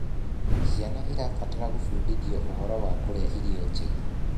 Ciana irabatara gubundithio ũhoro wa kurĩa irio njega